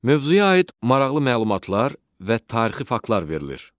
Mövzuya aid maraqlı məlumatlar və tarixi faktlar verilir.